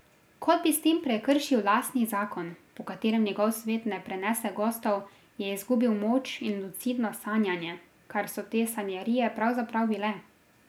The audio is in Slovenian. Kot bi s tem prekršil lastni zakon, po katerem njegov svet ne prenese gostov, je izgubil moč in lucidno sanjanje, kar so te sanjarije pravzaprav bile.